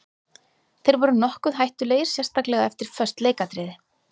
Þeir voru nokkuð hættulegir sérstaklega eftir föst leikatriði.